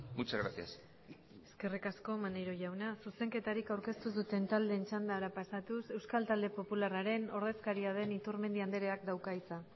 muchas gracias eskerrik asko maneiro jauna zuzenketarik aurkeztu ez duten taldeen txandara pasatuz euskal talde popularraren ordezkaria den iturmendi andreak dauka hitza